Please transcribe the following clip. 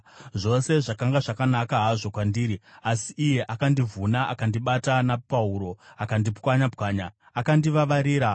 Zvose zvakanga zvakanaka hazvo kwandiri, asi iye akandivhuna; akandibata napahuro akandipwanya-pwanya. Akandivavarira;